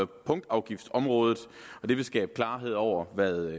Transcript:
punktafgiftsområdet det vil skabe klarhed over hvad